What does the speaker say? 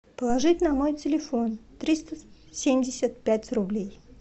положить на мой телефон триста семьдесят пять рублей